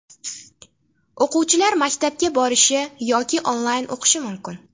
O‘quvchilar maktabga borishi yoki onlayn o‘qishi mumkin.